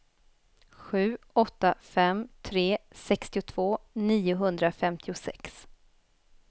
sju åtta fem tre sextiotvå niohundrafemtiosex